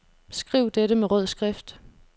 Skriv dette med rød skrift.